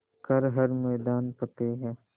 कर हर मैदान फ़तेह